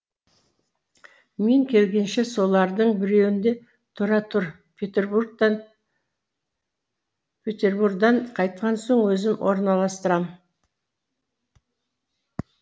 мен келгенше солардың біреуінде тұра тұр петербурдан қайтқан соң өзім орналастырам